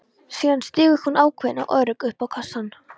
Síðan stígur hún ákveðin og örugg upp á kassann.